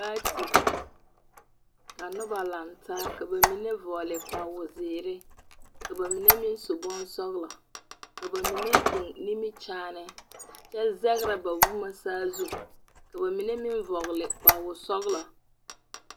Paati, ka nobna lantaa, ka ba mine vͻgele kpawozeere. Ka ba mine su bonsͻelͻ, ka ba mine nimikyaane kyԑ zԑgerԑ ba boma saazu. Ka ba mine meŋ vͻgele kpowoosͻgelͻ.